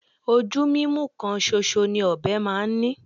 Ojú mímú kan ṣoṣọ ni ọ̀bẹ máa ń ní